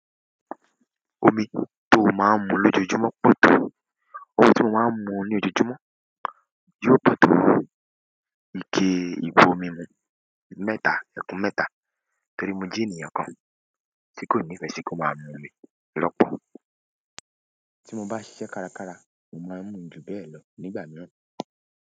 Omi tóo máa ń mu lójoójúmọ́ pọ̀ tó, omi ti mó maa n mu ní ojoojúmọ́ yóò pọ̀ tó ike ìbu omi mú mẹ́ta, ẹkùn mẹ́ta torí mo je ènìyàn kan tí kò nífẹ̀ẹ́ sí kí ó máa mu omi lọ́pọ̀. Tí mo bá ṣiṣẹ́ kárakára, mo máa ń mu ju bẹ́ẹ̀ lọ nígbà mìíràn.